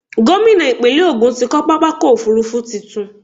Gómìnà ìpínlẹ̀ Ògun ti kọ́ pápákọ̀-òfurufú tuntun.